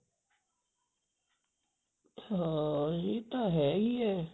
ਹਾਂ ਇਹ ਤਾਂ ਹੈ ਈ ਐ